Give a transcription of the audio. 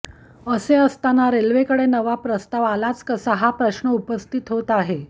असे असताना रेल्वेकडे नवा प्रस्ताव आलाच कसा हा प्रश्न उपस्थित होत आहे